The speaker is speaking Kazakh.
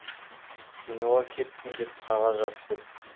киноға кеттім деп қағаз жазып кет